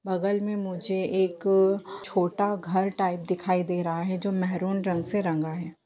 बगल में मुझे एक छोटा घर टाइप दिखाई दे रहा है जो महरून रंग से रंगा है।